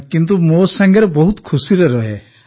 କିନ୍ତୁ ମୋ ସାଙ୍ଗରେ ବହୁତ ଖୁସିରେ ରହେ